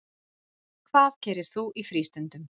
Hvað gerir þú í frístundum?